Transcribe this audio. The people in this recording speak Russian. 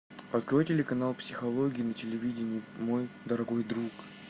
открой телеканал психология на телевидении мой дорогой друг